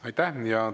Aitäh!